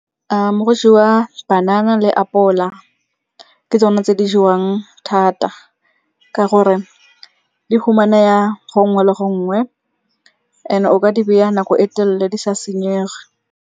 Go jewa banana le apola, ke tsone tse di jewang thata ka gore di humanea gongwe le gongwe and-e o ka di beya nako e telele di sa senyege.